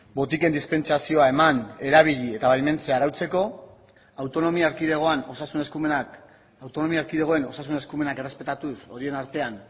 botiken dispentsazioa eman erabili eta baimentzea arautzeko autonomia erkidegoan osasun eskumenak autonomia erkidegoen osasun eskumenak errespetatuz horien artean